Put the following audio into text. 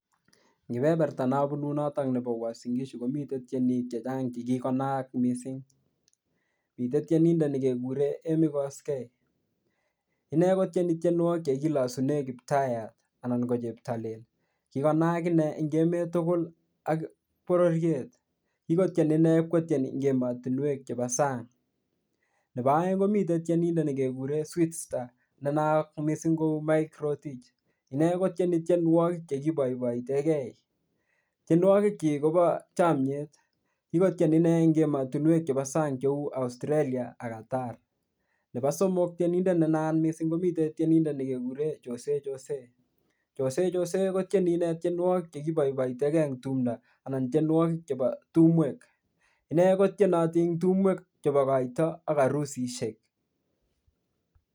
Kipeperta nabunu noto nebo Uasim Gishu komiten tienik che chang che kikonaak mising. Mite tienindet nekekuren Emmy Koskei. Inne kotieni tienwogik che kilasune Kiptayat. Kikonaak eng emet tugul ak bororiet. Kikotien inne ipkotyen en ematunwek chebo sang. Nebo aeng komiten tienindet nekekuren sweetstar nenaat mising ko Mike Rotich. Inne kotieni tienwogik che kiboiboitenge. Tienwogikyik kobo chomyet. Kikotien inee eng ematinwek chebo sang cheu Australia ak Qatar. Nebo somok, tienindet ne naat mising komi tienindet nekeguren joseyjosey. Joseyjosey kotieni inne tienwogik che kiboiboitege eng tumndo anan tienwogik chebo tumwek. Inne kotienoti eng tumwek chebo koito ak arusisiek.